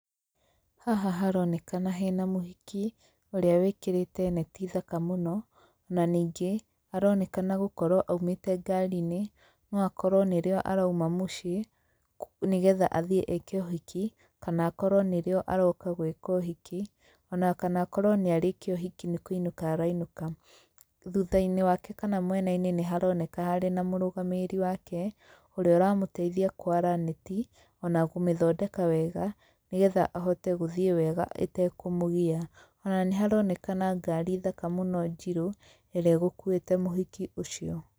Haha haronekana hena mũhiki, ũrĩa wĩkĩrĩte neti thaka mũno, na ningĩ, aronekana gũkorwo aumĩte ngari-inĩ, no akorwo nĩrĩo arauma mũciĩ nĩ getha athiĩ eke ũhiki, kana akorwo nĩrĩo aroka gwĩka ũhiki ona kana akorwo nĩ arĩkia ũhiki nĩ kũinũka arainũka. Thutha-inĩ wake kana mwena-inĩ nĩ haroneka hena mũrũgamĩrĩri wake, ũrĩa ũramũteithia kwara neti ona kũmĩthondeka wega nĩgetha ahote gũthiĩ wega ĩtekũmũgia. Ona nĩ haronekana ngari thaka mũno njirũ, ĩrĩa ĩgũkuĩte mũhiki ũcio.